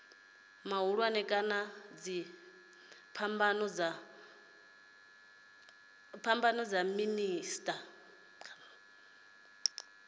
mahulwane kana dziphambano dza miḓini